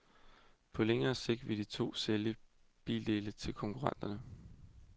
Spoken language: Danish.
På længere sigt vil de to sælge bildele til konkurrenterne.